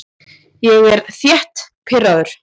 Ég er þétt pirraður.